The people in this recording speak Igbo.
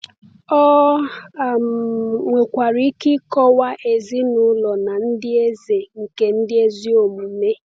Ọ um nwekwara ike ịkọwa ezinụlọ na ndị eze nke ndị ezi omume.